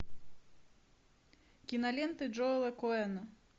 киноленты джоэла коэна